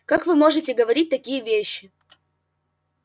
как вы можете говорить такие вещи